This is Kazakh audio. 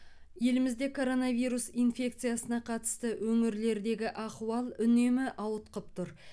елімізде коронавирус инфекциясына қатысты өңірлердегі ахуал үнемі ауытқып тұр